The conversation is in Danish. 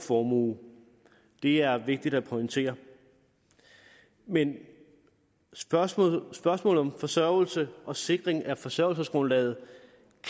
formue det er vigtigt at pointere men spørgsmålet spørgsmålet om forsørgelse og sikring af forsørgelsesgrundlaget